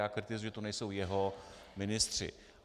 Já kritizuji, že tu nejsou jeho ministři.